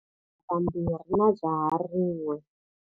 U na vanhwanyana vambirhi na jaha rin'we.